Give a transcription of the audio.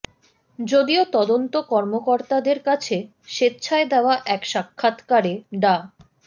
যদিও তদন্ত কর্মকর্তাদের কাছে স্বেচ্ছায় দেওয়া এক সাক্ষাৎকারে ডা